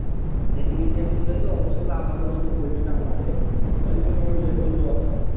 দেখ নিজের খুললেতো অবশ্যই লাভ হবে যদি পল্টি না মরে যদি মরে যায় তো Loss